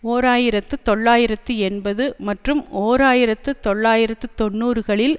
ஓர் ஆயிரத்தி தொள்ளாயிரத்தி எண்பது மற்றும் ஓர் ஆயிரத்து தொள்ளாயிரத்து தொன்னூறுகளில்